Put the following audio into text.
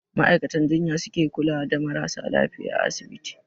Ma'aikatan jinya su ke kula da marasa lafiya a asibiti.